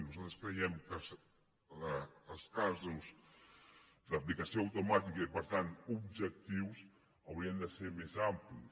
nosaltres creiem que els casos d’aplicació automàtica i per tant objectius haurien de ser més amplis